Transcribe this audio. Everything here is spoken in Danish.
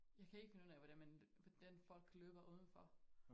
Jeg kan ikke finde ud af hvordan man hvordan folk løber uden for